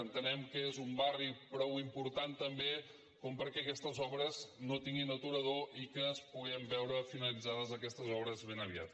entenem que és un barri prou important també perquè aquestes obres no tinguin aturador i que puguem veure finalitzades aquestes obres ben aviat